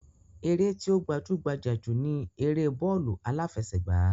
Eré tí ó gbajú-gbajà jù ni eré bọ́ọ̀lù aláfẹsẹ̀gbá